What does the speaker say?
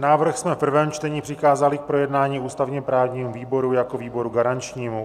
Návrh jsme v prvém čtení přikázali k projednání ústavně-právnímu výboru jako výboru garančnímu.